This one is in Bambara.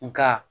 Nka